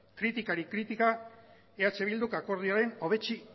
kritikari kritika eh bilduk